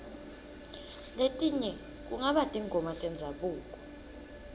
letinye kungaba tingoma tendzabuko